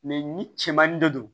ni cɛmannin de don